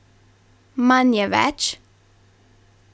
Manj je več?